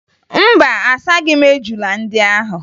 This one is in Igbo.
Mba, asaghị m ejula ndị ahụ